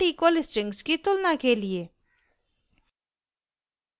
दो not equal strings की तुलना के लिए